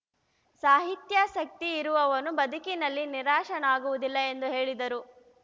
ಸಾಹಿತ್ಯಾಸಕ್ತಿ ಇರುವವನು ಬದುಕಿನಲ್ಲಿ ನಿರಾಶನಾಗುವುದಿಲ್ಲ ಎಂದು ಹೇಳಿದರು